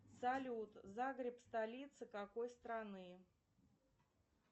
салют загреб столица какой страны